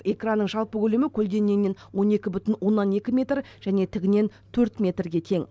экранның жалпы көлемі көлденеңінен он екі бүтін оннан екі метр және тігінен төрт метрге тең